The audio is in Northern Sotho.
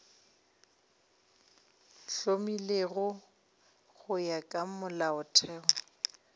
hlomilwego go ya ka molaotheo